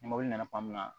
Ni mobili nana tuma min na